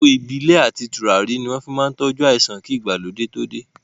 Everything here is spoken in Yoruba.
Àgbò Ìbílẹ̀ àti tùràrí ni wọn fi máa ń tọju àìsàn kí ìgbàlódé too dé